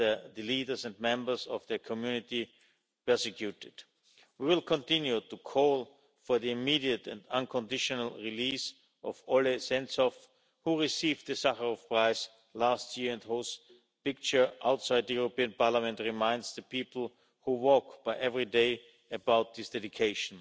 and the leaders and members of their community have been persecuted. We will continue to call for the immediate and unconditional release of Oleh Sentsov, who received the Sakharov Prize last year and whose picture outside the European Parliament reminds the people who walk by every day about his dedication.